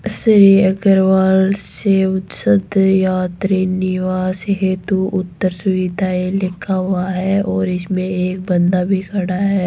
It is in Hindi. श्री अग्रवाल शिवशक्ति यात्री निवास हेतु उत्तर सुविधाए लिखा हुआ है और इसमें एक बंदा भी खड़ा है।